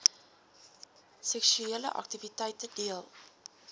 seksuele aktiwiteite deel